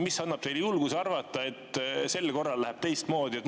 Mis annab teile julguse arvata, et sel korral läheb teistmoodi?